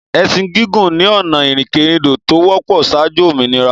Ẹsin gigun ni ọ̀nà ìrìnkèrindò to wọ́pọ̀ saájú òmìnira.